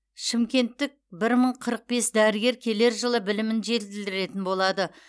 шымкенттік бір мың қырық бес дәрігер келер жылы білімін жетілдіретін болады